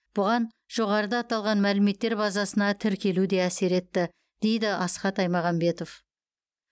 бұған жоғарыда аталған мәліметтер базасына тіркелу де әсер етті дейді асхат аймағамбетов